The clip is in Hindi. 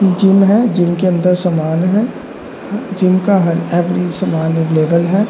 इ जिम है जिम के अंदर सामान है। जिम का है।